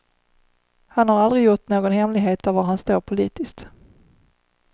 Han har aldrig gjort någon hemlighet av var han står politiskt.